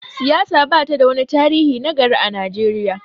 siyasa ba ta da wani tarihi na gari a Najeriya